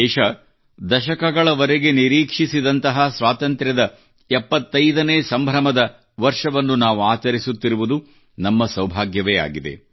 ದೇಶ ದಶಕಗಳವರೆಗೆ ನಿರೀಕ್ಷಿಸಿದಂತಹ ಸ್ವಾತಂತ್ರ್ಯದ 75 ನೇ ಸಂಭ್ರಮದ ವರ್ಷವನ್ನು ನಾವು ಆಚರಿಸುತ್ತಿರುವುದು ನಮ್ಮ ಸೌಭಾಗ್ಯವೇ ಆಗಿದೆ